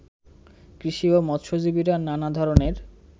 কৃষি ও মৎস্যজীবীরা নানা ধরনের